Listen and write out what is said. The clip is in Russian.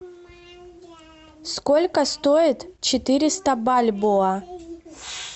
сколько стоит четыреста бальбоа